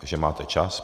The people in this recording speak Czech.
Takže máte čas.